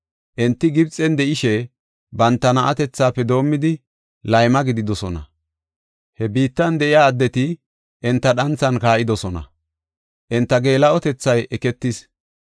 Enti Gibxen de7ishe, banta na7atethafe doomidi, layma gididosona. He biittan de7iya addeti enta dhanthan kaa7idosona; enta geela7otethay eketis.